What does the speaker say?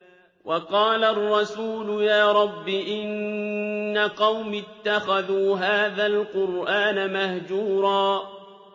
وَقَالَ الرَّسُولُ يَا رَبِّ إِنَّ قَوْمِي اتَّخَذُوا هَٰذَا الْقُرْآنَ مَهْجُورًا